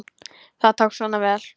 Það tókst svona vel.